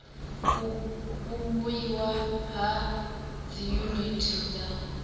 u vhumbiwa ha dziyuniti dza